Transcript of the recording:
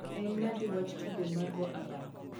en nade wach tugo mar go abal